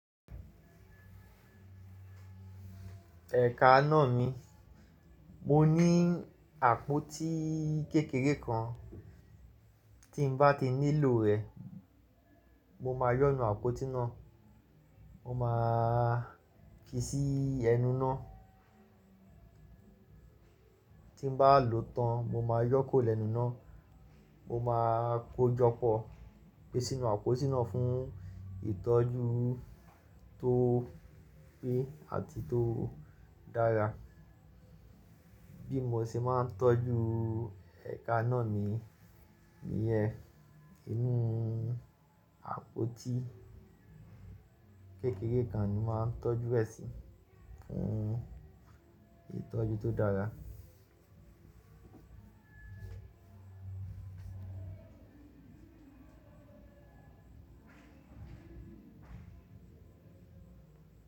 Ẹ̀ka náà mi, mo ní àpótí kékeré kan, tí n bá ti nílò rẹ̀, mo máa yọ́nu àpótí náà, mo máa fi sí ẹnu náà. Tí n bá lòó tán, mo máa yọ́ kuró lẹ́nu ináà, mo máa kó jọpọ̀, gbé sínú àpótí náà fún ìtọ́jú tó pé àti tó dára. Bí mo ṣe máa ń tọ́jú ẹ̀ka náà mi, níyẹ́n, inú àpótí kékeré kan ni mo máa ń tọ́jú ẹ̀ sí fún ìtọ́jú tó dára.